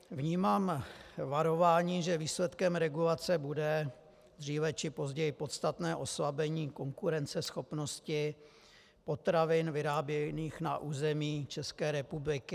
Vnímám varování, že výsledkem regulace bude dříve či později podstatné oslabení konkurenceschopnosti potravin vyráběných na území České republiky.